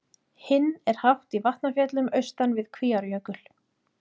Hinn er hátt í Vatnafjöllum austan við Kvíárjökul.